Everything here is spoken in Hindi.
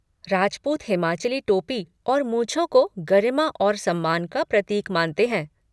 राजपूत हिमाचली टोपी और मूँछों को गरिमा और सम्मान का प्रतीक मानते हैं।